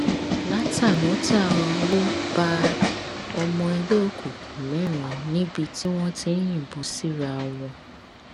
látànọtá owó bá ọmọ ẹgbẹ òkùnkùn mẹrin níbi tí wọn ti ń yìnbọn síra wọn